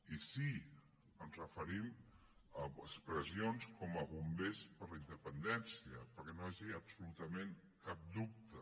i sí ens referim a expressions com bombers per la independència perquè no hi hagi absolutament cap dubte